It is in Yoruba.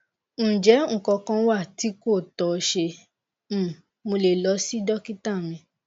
njẹ nkan kan wa ti ko tọ ṣe um mo le lọ si dokita mi